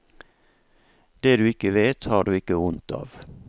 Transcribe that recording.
Det du ikke vet, har du ikke vondt av.